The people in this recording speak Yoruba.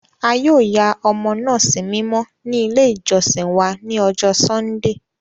A yoo ya ọmọ naa simimọ ni ile ijọsin wa ni ọjọ Sundee.